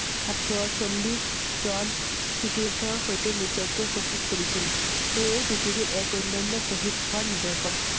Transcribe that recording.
সাত শ চল্লিশ জন সতীৰ্থৰ সৈতে নিজকে শ্বহীদ কৰিছিল। সেই য়ে পৃথিৱীত এক অন্যান্য শ্বহীদ হোৱাৰ নিদৰ্শন